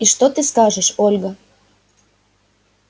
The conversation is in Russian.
и что ты скажешь ольга